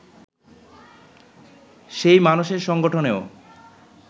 সেই মানসের সংগঠনেও